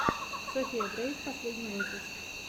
софия грейс последний выпуск